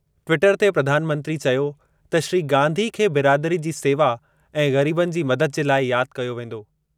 Twitter ते प्रधानमंत्री चयो त श्री गांधी खे बिरादरी जी सेवा ऐं ग़रीबनि जी मदद जे लाइ यादि कयो वेंदो।